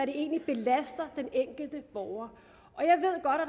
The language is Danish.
det egentlig belaster den enkelte borger